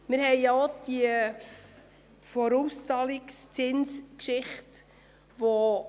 Wir haben auch schon über die Vorauszahlungszinsen gesprochen.